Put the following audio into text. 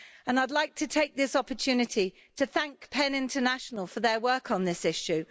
I'd like to take this opportunity to thank PEN International for their work on this issue.